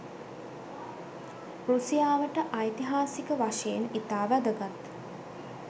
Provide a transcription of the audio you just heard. රුසියාවට ඓතිහාසික වශයෙන් ඉතා වැදගත්